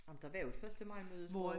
Ej men der var jo et første maj møde hvor